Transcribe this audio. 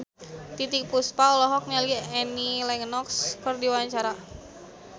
Titiek Puspa olohok ningali Annie Lenox keur diwawancara